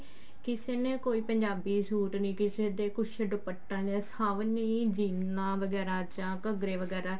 ਕਿਸੇ ਨੇ ਕੋਈ ਪੰਜਾਬੀ ਸੂਟ ਨੀ ਕਿਸੇ ਕੁੱਝ ਦੁਪੱਟਾ ਸਭ ਨੇ ਜੀਨਾ ਵਗੈਰਾ ਜਾਂ ਘੱਗਰੇ ਵਗੈਰਾ